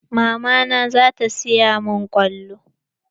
Mama na zata siya min kwallo.